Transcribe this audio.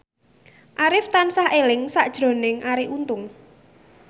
Arif tansah eling sakjroning Arie Untung